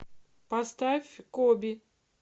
поставь коби